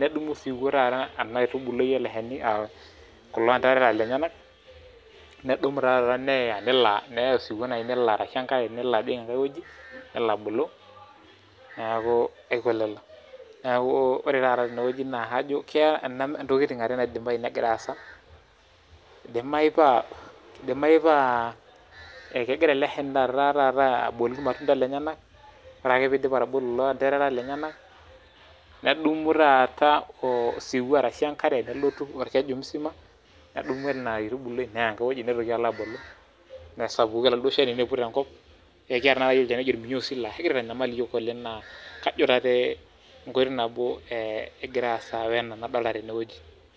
nedumu osiwuo ena aitubului ele shani kulo anderera lenyenak nedumu taata neya nelo neya osiwuo taata nelo abulu neaku lelo Neaku ore taata tene naa ntokiting are keidimayu negira aasa, idimayu taata naa kegira ele shani aibooyo ilmatunda lenyenak ore ake oiidip atubulu ilanderera lenyenak nedumu taata osiwuo arashu enkare ashu olkeju musima nedumu ena aitubului neya nelo abulu nesapuku oladuo shani niput enkop ekiata tanataka olchani oji olminyoosi laa kegira aitanyamal iyiok oleng' naa kajo enkoitoi nabo egira aasa tenewueji